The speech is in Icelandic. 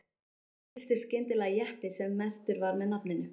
Þá birtist skyndilega jeppi sem merktur var með nafninu